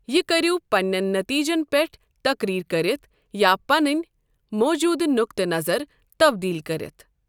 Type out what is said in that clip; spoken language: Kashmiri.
یہِ کٔرِو پنِنٮ۪ن نٔتیٖجَن پٮ۪ٹھ تقریر کٔرِتھ یا پنٕنۍ موٗجوٗدٕ نقطہٕ نظر تبدیٖل کٔرِتھ۔